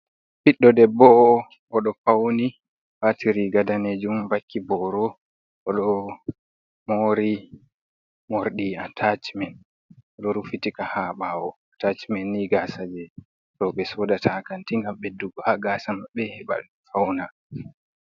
Biddo debboo odo fauni wati riga danejum, vakki boro. Odo moori mordi atacimen odo rufitika ha bawo atacimen ni gasa je robe soodata ha kanti gam besdugo ha gasamabbe heba fauna.